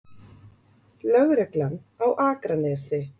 Lögreglan á Akranesi?